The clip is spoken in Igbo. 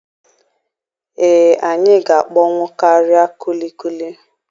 Ee, anyị ga-akpọnwụ karịa kulikuli.